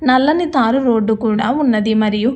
నల్లని తారు రోడ్ కూడా ఉన్నది మరియు --